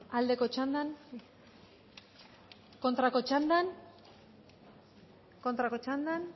aldeko txandan kontrako txandan kontrako txandan